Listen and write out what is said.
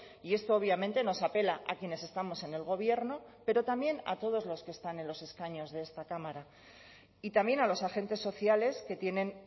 y esto obviamente nos apela a quienes estamos en el gobierno pero también a todos los que están en los escaños de esta cámara y también a los agentes sociales que tienen